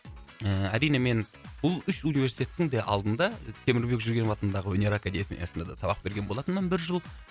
ііі әрине мен бұл үш университеттің де алдында темірбек жүргенов атындағы өнер академиясында да сабақ берген болатынмын бір жыл